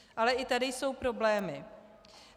Ale i tady jsou problémy.